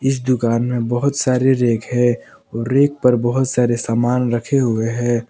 इस दुकान मे बहुत सारे रैक है और रैक पर बहोत सारे समान रखे हुए हैं।